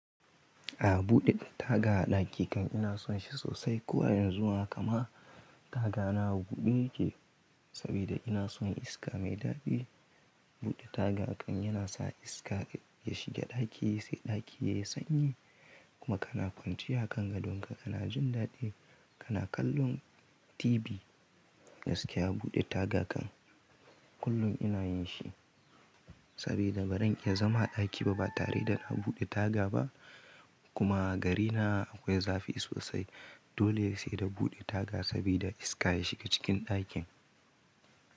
A buɗe taga a ɗaki kan ina son shi sosai koh a yanzu haka ma taga na a buɗe yake saboda ina son iska mai daɗi. Buɗe taga kan yana sa iska ya shiga ɗaki sai ɗaki yayi sanyi kuma kana kwanciya a kan gadon ka kana jin daɗi kana kallon tibi. Gaskiya buɗe taga kan kullum ina yin shi saboda ba zan iya zama a ɗaki ba tare da a buɗe taga ba kuma gari na akwai zafi sosai dole yayi saida a buɗe taga saboda iska ya shiga cikin ɗakin.